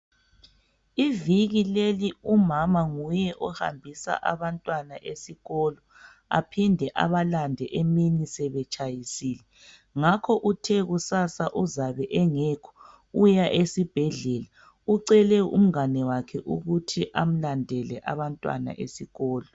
Iviki leli umama nguye ohambisa abantwana esikolo aphinde abalande emini sebetshiyisile. Ngakho uthe kusasa uzabe engekho uya esibhedlela. Ucele umngane wakhe ukuthi amlandele abantwana esikolo.